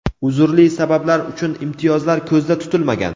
uzrli sabablar uchun imtiyozlar ko‘zda tutilmagan.